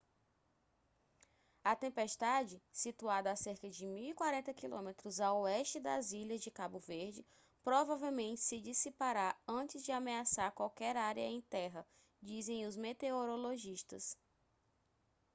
a tempestade situada a cerca de 1040 km a oeste das ilhas de cabo verde provavelmente se dissipará antes de ameaçar qualquer área em terra dizem os meteorologistas